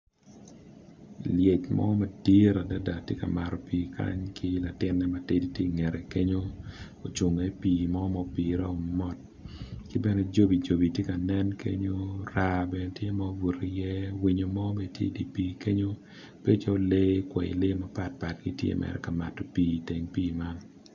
Lyec mo madit adada ti ka mato pii kany ki latinne ti i ngete kenyo ocungo i pii mo mupire mot ki bene cobi cobi ti nen kenyo raa bene tye mubutu iye winyo mo bene ti i di pii kenyo, bedo calo kwayi lee mapatpat gitye mere ka mato pii.